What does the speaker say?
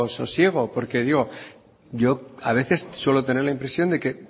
sosiego porque yo a veces suelo tener la impresión de que